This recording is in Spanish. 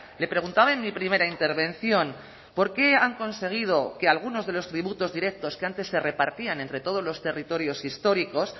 le preguntaba en mi primera intervención por qué han conseguido que algunos de los tributos directos que antes se repartían entre todos los territorios históricos